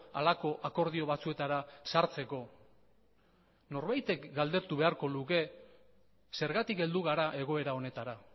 halako akordio batzuetara sartzeko norbaitek galdetu beharko luke zergatik heldu gara egoera honetara